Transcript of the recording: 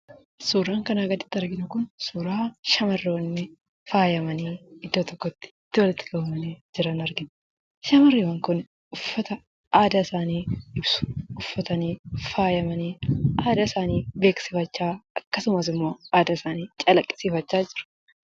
Suuraan kanaa gaditti arginu kun, suuraa shamarroonni faayamanii, iddoo tokkotti walitti qabamanii, jiran argina. Shamarreewwan kun uffata aadaa isaanii ibsu uffatanii, faayamanii, aadaa isaanii beeksifachaa, akkasumas immoo aadaa isaanii calaqqisiifachaa jiru.